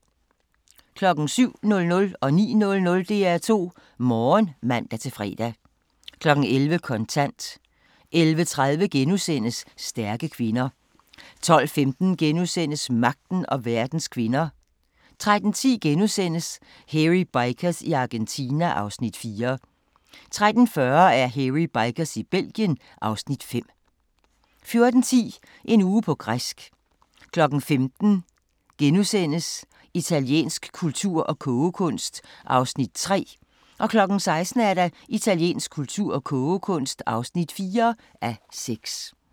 07:00: DR2 Morgen (man-fre) 09:00: DR2 Morgen (man-fre) 11:00: Kontant 11:30: Stærke kvinder * 12:15: Magten og verdens kvinder * 13:10: Hairy Bikers i Argentina (Afs. 4)* 13:40: Hairy Bikers i Belgien (Afs. 5) 14:10: En uge på græsk 15:00: Italiensk kultur og kogekunst (3:6)* 16:00: Italiensk kultur og kogekunst (4:6)